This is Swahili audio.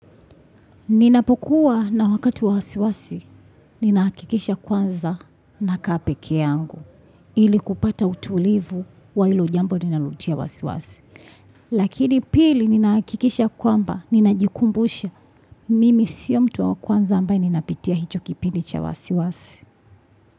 Ninapokuwa na wakati wa wasiwasi, ninahakikisha kwanza nakaa peke yangu, hili kupata utulivu wa ilo jambo linalotia wasiwasi. Lakini pili ninaakikisha kwamba, ninajikumbusha, mimi sio mtu wa kwanza ambaye ninapitia hicho kipili cha wasiwasi.